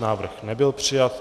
Návrh nebyl přijat.